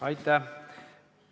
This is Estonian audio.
Aitäh!